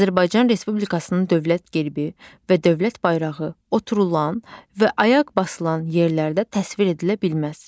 Azərbaycan Respublikasının dövlət gerbi və dövlət bayrağı oturulan və ayaq basılan yerlərdə təsvir edilə bilməz.